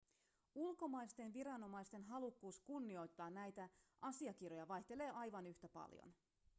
ulkomaisten viranomaisten halukkuus kunnioittaa näitä asiakirjoja vaihtelee aivan yhtä paljon